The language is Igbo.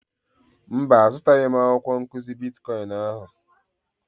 Mba, azụtaghị m akwụkwọ nkụzi bitkọịn ahụ.